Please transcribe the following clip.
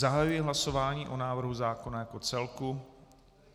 Zahajuji hlasování o návrhu zákona jako celku.